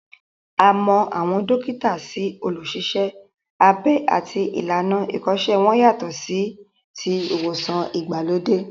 A mọ àwọn dókítà sí olùṣiṣẹ́-abẹ àti ìlànà ìkọ́ṣẹ́ wọn yàtọ̀ sí ti ìwòsàn ìgbàlódé